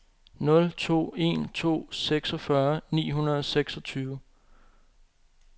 nul to en to seksogfyrre ni hundrede og seksogtyve